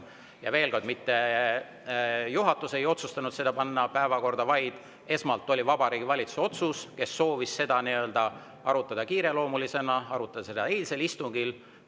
Ja veel kord: mitte juhatus ei otsustanud seda panna päevakorda, vaid esmalt otsuse Vabariigi Valitsus, kes soovis seda arutada kiireloomulisena, arutada seda eilsel istungil.